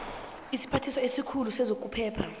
isiphathiswa esikhulu sezokuphepha